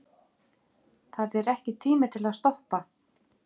Þetta er ekki tími til að stoppa.